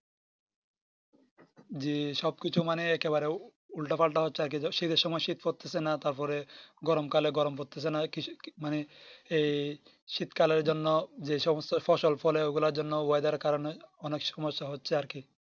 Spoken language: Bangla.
জি সব কিছুই মানে একেবারে উল্টো পাল্টা হচ্ছে আরকি শীতের সময় শীত পড়তেছে না তার পরে গরম কালে গ্রাম পড়তেছে না কি মানে এই শীত কালের জন্য যেসমস্ত ফসল ফলে ওগুলার জন্য oyedar করেন অনেক সময় সমস্য হচ্ছে আরকি